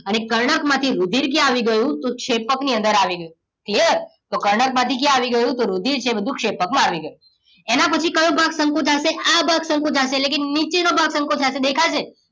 અને કર્ણક માંથી રુધિર ક્યાં આવી ગયું તો ક્ષેપકની અંદર આવી ગયું clear તો કર્ણક માંથી ક્યાં આવી ગયો તો રુધિર જે બધું ક્ષેપકમાં આવી ગયું એના પછી કયો ભાગ સંકોચાશે આ ભાગ સંકોચાશે એટલે કે નીચે નો ભાગ સંકોચાશે દેખાય છે